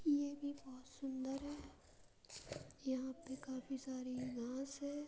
ये भी बहुत सुंदर है। यहाँ पे काफ़ी सारी घांस है।